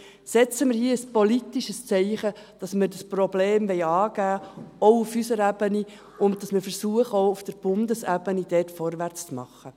Setzen wir hier ein politisches Zeichen, dass wir das Problem angehen wollen, auch auf unserer Ebene, und dass wir versuchen, dort auch auf Bundesebene vorwärts zu machen.